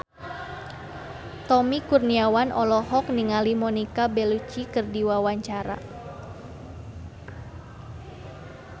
Tommy Kurniawan olohok ningali Monica Belluci keur diwawancara